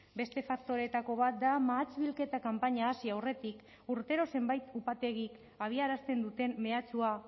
beste faktoreetako bat da mahats bilketa kanpaina hasi aurretik urtero zenbait upategik abiarazten duten mehatxua